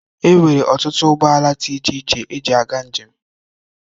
Enwere ọtụtụ ụgbọ ala dị iche iche eji aga njem.